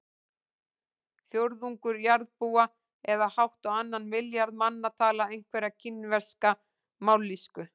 Fjórðungur jarðarbúa eða hátt á annan milljarð manna tala einhverja kínverska mállýsku.